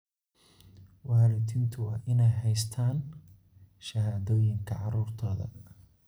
Waalidiintu waa inay haystaan ??shahaadooyinka carruurtooda.